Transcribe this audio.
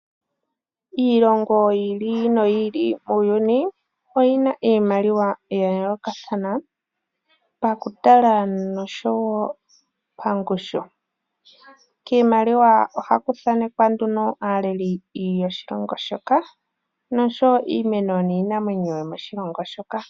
Iilongo yi ili noyi ili muuyuni oyina iimaliwa ya yoolokathana, pakutala noshowo pangushu. Kiimaliwa ohaku thanekwa nduno aaleli yoshilongo shoka oshowo iimeno niinamwenyo yomoshilongo shoka.